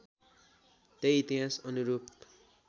त्यही इतिहास् अनुरूप